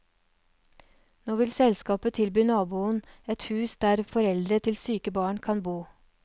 Nå vil selskapet tilby naboen et hus der foreldre til syke barn kan bo.